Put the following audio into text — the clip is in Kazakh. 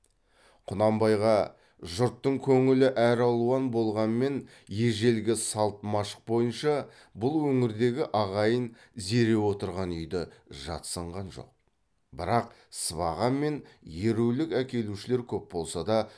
құнанбайға жұрттың көңілі әралуан болғанмен ежелгі салт машық бойынша бұл өңірдегі ағайын зере отырған үйді жатсынған жоқ бірақ сыбаға мен ерулік әкелушілер көп болса да